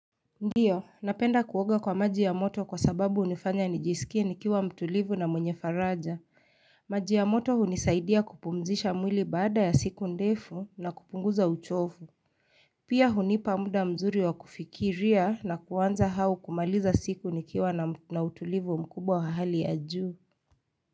Ndiyo, napenda kuwoga kwa maji ya moto kwa sababu unifanya nijisikie nikiwa mtulivu na mwenye faraja. Maji ya moto hunisaidia kupumzisha mwili baada ya siku ndefu na kupunguza uchovu. Pia hunipa muda mzuri wa kufikiria na kuanza hau kumaliza siku nikiwa na mtulivu mkubwa wahali ya juu.